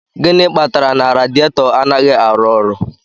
Gịnị kpatara na radiator anaghị arụ ọrụ